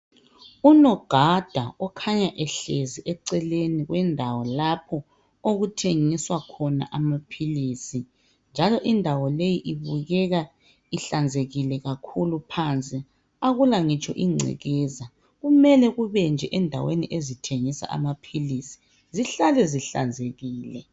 unogada okhanya ehlezi eceleni kwendawo lapho okuthengiswa amaphilisi njalo indawo leyi ibukeka ihlanzekile kakhulu phansi akula ngitsho ingcekeza kumele kubenje endaweni ezithengisa amaphilisi zihlale zihlanzekile